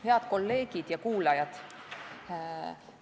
Head kolleegid ja muud kuulajad!